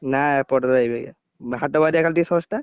ନାଇଁ ଏପଟେ ଏଇବାଗିଆ, ହାଟବାରିଆ ଖାଲି ଟିକେ ଶସ୍ତା।